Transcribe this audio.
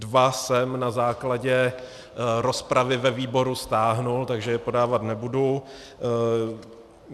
Dva jsem na základě rozpravy ve výboru stáhl, takže je podávat nebudu.